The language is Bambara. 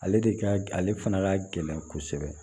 Ale de ka ale fana ka gɛlɛn kosɛbɛ